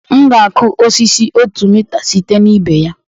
M ga-akụ osisi otu mita site na ibe ya